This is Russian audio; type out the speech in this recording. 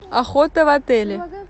охота в отеле